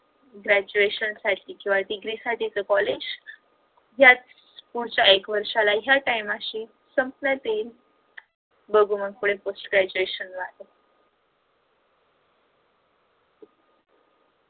graduation साठी किंवा degree साठी च कॉलेज पुढच्या वर्षाला या time शी संपण्यात येईल बघू मग पुढे post graduation ला